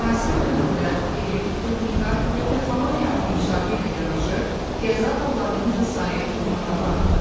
Müasir dövrdə elm, texnika və texnologiyanın inkişafı ilə yanaşı qəza hallarının da sayı durmadan artır.